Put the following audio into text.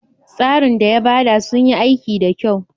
tsarin da yabada sunyi aiki da kyau.